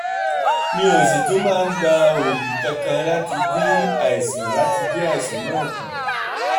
mi ò sì tún máa ń gba oògùn kankan láti dín àìsàn láti dín àìsàn náà kù